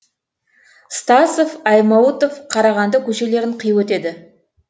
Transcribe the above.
стасов аймауытов қарағанды көшелерін қиып өтеді